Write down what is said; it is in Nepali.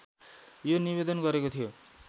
यो निवेदन गरेको थियो